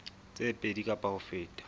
tse pedi kapa ho feta